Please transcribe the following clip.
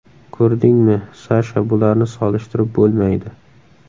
Ko‘rdingmi, Sasha bularni solishtirib bo‘lmaydi.